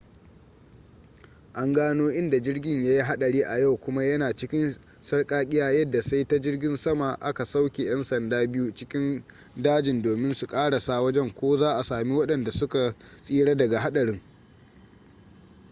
an gano inda jirgin yayi hadari a yau kuma ya na cikin sarkakiya yadda sai ta jirgin sama aka sauke yan sanda biyu cikin dajin domin su karasa wajen ko za'a sami wadanda su ka tsira daga hadarin